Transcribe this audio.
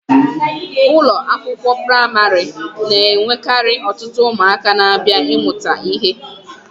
Ụlọ akwụkwọ praịmarị na-enwekarị ọtụtụ ụmụaka na-abịa ịmụta ihe.